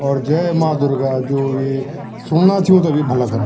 और जय मा दुर्गा जू ये सुनणा छिं उन्थे भी भला करा।